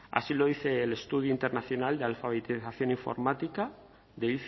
así lo dice el estudio internacional de alfabetización informática de